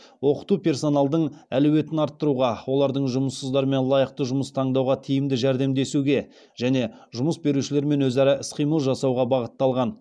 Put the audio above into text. оқыту персоналдың әлеуетін арттыруға оларды жұмыссыздармен лайықты жұмыс таңдауда тиімді жәрдемдесуге және жұмыс берушілермен өзара іс қимыл жасауға бағытталған